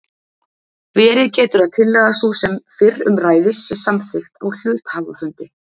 Verið getur að tillaga sú sem fyrr um ræðir sé samþykkt á hluthafafundi.